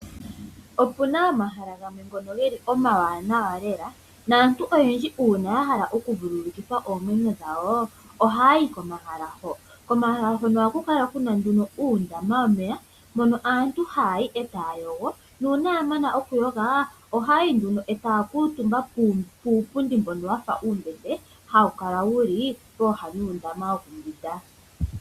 Opuna omahala gamwe omawanawa naantu oyendji uuna yahala oku vululukitha oomwenyo dhawo oha yayi komahala hoka . Komahala hoka ohaku kala kuna uundama womeya nuuna yamana okuyoga ohaya kuutumba puupundi mbono hawu kala wuli pooha dhuundama wokumbwinda.